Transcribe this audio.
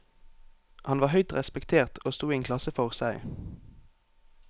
Han var høyt respektert og sto i en klasse for seg.